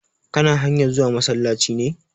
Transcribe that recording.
Kana hanyar zuwa masallaci ne?